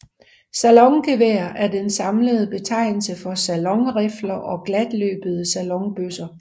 Salongevær er den samlede betegnelse for salonrifler og glatløbede salonbøsser